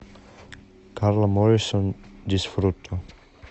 карла моррисон дисфруто